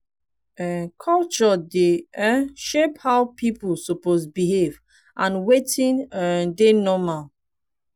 um culture dey um shape how pipo suppose behave and wetin um dey normal